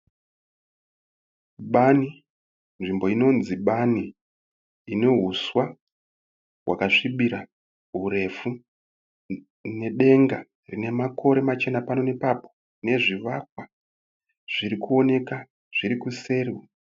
Bani. Nzvimbo inonzi bani. Ine huswa wakasvibira hurefu. Nedenga rine makore machena pano nepapo. Nezvivakwa zvirikuoneka zvirikuseri.